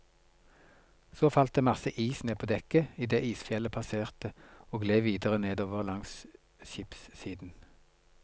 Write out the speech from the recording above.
Så falt det masse is ned på dekket idet isfjellet passerte og gled videre nedover langs skipssiden.